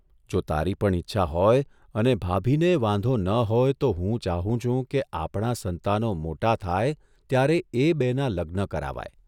જો તારી પણ ઇચ્છા હોય અને ભાભીનેય વાંધો ન હોય તો હું ચાહું છું કે આપણાં સંતાનો મોટા થાય ત્યારે એ બેનાં લગ્ન કરાવાય.